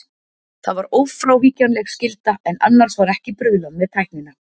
Það var ófrávíkjanleg skylda, en annars var ekki bruðlað með tæknina.